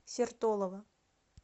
сертолово